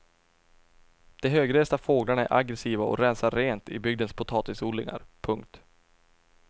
De högresta fåglarna är aggressiva och rensar rent i bygdens potatisodlingar. punkt